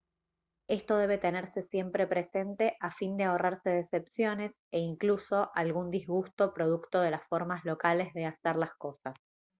esto debe tenerse siempre presente a fin de ahorrarse decepciones e incluso algún disgusto producto de las formas locales de hacer las cosas